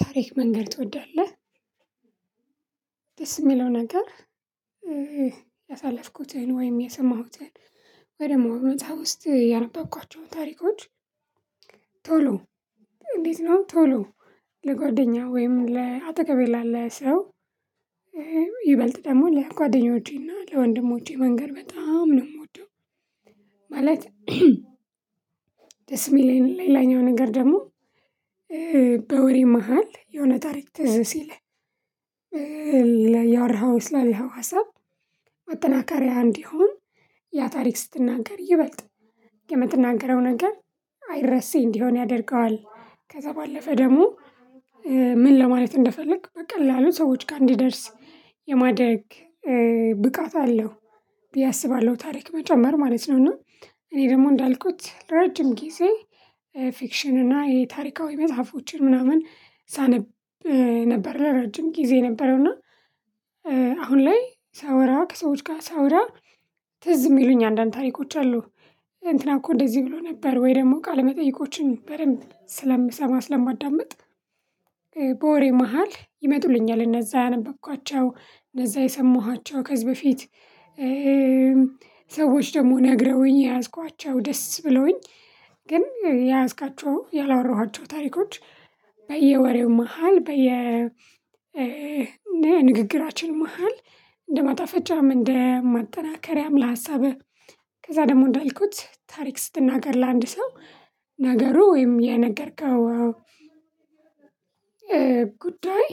ታሪክ መንገር ትወዳለህ ደስ የሚለው ነገር ያሳለፍኩትን ወይም የሰማሁትን ወይ ደግሞ እውነታ ውስጥ ያነበብኳቸውን ታሪኮች ቶሎ እንዴት ነው ቶሎ ለጓደኛው ወይም ለአጠገቤ ላለ ሰው ይበልጥ ደግሞ ለጓደኞቼና ለወንድሞቼ መንገር በጣም ነው የምወደው ማለት ደስ የሚል ሌላኛው ነገር ደግሞ በወሬ መሃል የሆነ ታሪክ ትዝ ሲለኝ እያወራሁ ስላለው ሀሳብ ማጠናከሪያ እንዲሆን ያ ታሪክ ስትናገር ይበልጥ የምትናገረው ነገር አይረሴ እንዲሆን ያደርገዋል። ከዛ ባለፈ ደግሞ ምን ለማለት እንደፈለኩ በቃ ቀላሉ ሰዎች ጋር እንዲደርስ የማደርግ ብቃት አለው ብዬ አስባለሁ ታሪክ መጨመር ማለት ነው። እና እኔ ደግሞ እንዳልኩት ለረጅም ጊዜ ፊክሽን እና የታሪካዊ መጽሐፎችን ምናምን ሳነብ ነበረ ለረጅም ጊዜ የነበረው እና አሁን ላይ ሳወራ ከሰዎች ጋር ሳወራ ትዝ የሚሉኝ አንዳንድ ታሪኮች አሉ። እንትና እኮ እንደዚህ ብሎ ነበር፣ ወይ ደግሞ ቃለመጠይቆችን በደንብ ስለምሰማ፣ ስለማዳምጥ በወሬ መሃል ይመጡልኛል እነዛ ያነበብኳቸው እነዛ የሰማኋቸው ከዚህ በፊት ሰዎች ደግሞ ነግረውኝ የያዝኳቸው ደስ ብሎኝ ግን የያዝካቸው፣ ያላወራኋቸው ታሪኮች በየወሬው መሃል በየ ንግግራችን መሃል እንደማጣፈጫም፣ እንደ ማጠናከሪያም ለሀሳብህ፤ ከዛ ደግሞ እንዳልኩት ታሪክ ስትናገር ለአንድ ሰው ነገሩ ወይም የነገርከው ጉዳይ